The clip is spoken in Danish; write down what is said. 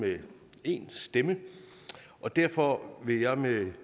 med en stemme og derfor vil jeg med